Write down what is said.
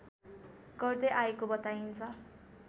गर्दै आएको बताइन्छ